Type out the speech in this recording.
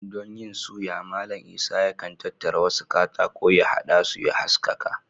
Don yin suya, Mallam Isah yakan tattara wasu katako, ya haɗa su ya haskaka